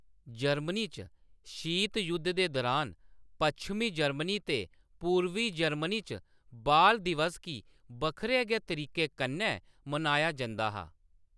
Germany च, शीत जुद्ध दे दुरान, पच्छमी जर्मनी ते पूर्बी जर्मनी च बाल दिवस गी बक्खरे गै तरीके कन्नै मनाया जंदा हा।